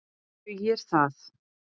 Dugir það?